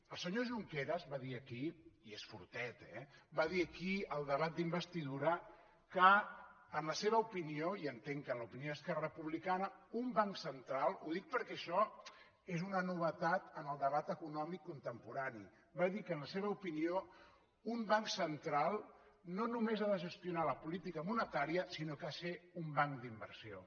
el senyor junqueras va dir aquí i és fortet eh al debat d’investidura que en la seva opinió i entenc que en l’opinió d’esquerra republicana un banc central ho dic perquè això és una novetat en el debat econòmic contemporani no només ha de gestionar la política monetària sinó que ha de ser un banc d’inversió